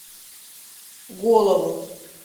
голову